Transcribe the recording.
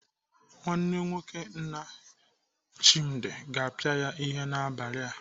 Nwanne nwoke nna Chimdi ga-apịa ya ihe n'abalị a.